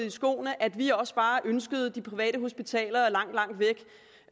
i skoene at vi også bare har ønsket de private hospitaler langt langt væk